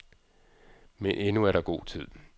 Men endnu er der god tid.